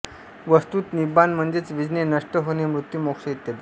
वस्तुत निब्बाण म्हणजे विझणे नष्ट होणे मृत्यू मोक्ष इत्यादी